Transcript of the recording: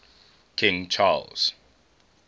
king charles